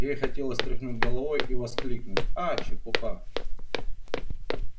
ей хотелось тряхнуть головой и воскликнуть а чепуха